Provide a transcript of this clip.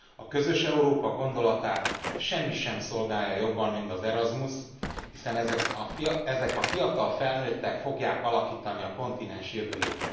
A közös Európa gondolatát semmi sem szolgálja jobban, mint az Erasmus, hiszen ezek a fiatal felnőttek fogják alakítani a kontinens jövőjét.